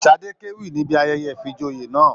Sadé k'ewí níbí ayẹyẹ ifíjòyè náà.